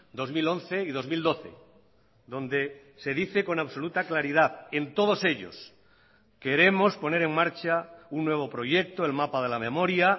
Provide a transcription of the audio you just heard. dos mil once y dos mil doce donde se dice con absoluta claridad en todos ellos queremos poner en marcha un nuevo proyecto el mapa de la memoria